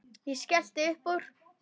Ég skellti upp úr.